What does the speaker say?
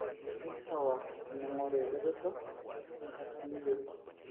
keisawa teningoru eretoto tenkata niyieu.